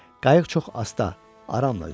Qayıq çox asta, aramla üzür.